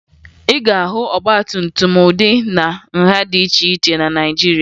Ị ga-ahụ ọgbatumtum ụdị na nha dị iche iche na Naịjirịa